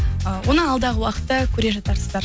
э оны алдағы уақытта көре жатарсыздар